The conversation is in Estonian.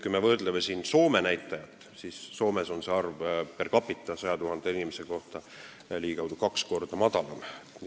Kuid vaatame Soome näitajat: Soomes on see arv 100 000 inimese kohta ligikaudu kaks korda väiksem.